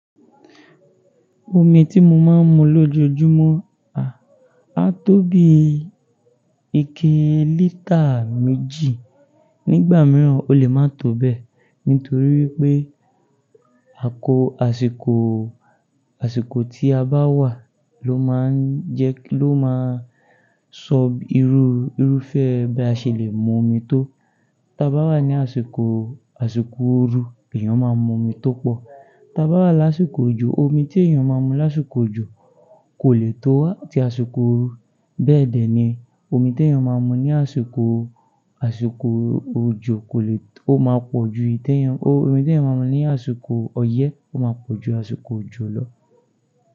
Omi tí mo máa ń mu lójoojúmọ́ a, á tó bí ike lítà méjì. Nígbà mìíràn ó lè má tó bẹ́ẹ̀ nítorí wípé àkó asiko, asiko tí a bá wà ló máa ń jẹ́ ló máa ń sọ irú, irúfẹ́ bí a ṣe lè mú omi tó. Tí a bá wà ní àsìkò, àsìkò ooru èèyàn máa mú omi tó pọ̀. Tí a bá wà lásìkò òjò, omi tí èèyàn máa mú lásìkò òjò kò lè tó tí àsìkò ooru. Bẹ́ẹ̀ dẹ̀ ni omi tí èèyàn máa mú ní àsìkò, àsìkò òjò kò lè tó-- ó máa pọ̀ ju ìtẹ́ èèyàn-- omi tí èèyàn máa mú ní àsìkò ọyẹ́ ó máa pọ̀ ju àsìkò òjò lọ.